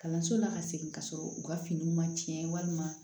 Kalanso la ka segin ka sɔrɔ u ka finiw ma tiɲɛ walima